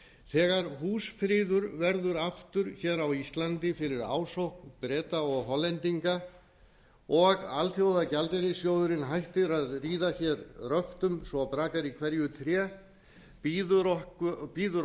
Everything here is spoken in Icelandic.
þegar húsfriður verður aftur hér á íslandi fyrir ásókn breta og hollendinga og alþjóðagjaldeyrissjóðurinn hættir að ríða hér röftum svo að brakar í hverju tré bíður